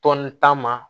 Tɔn ta ma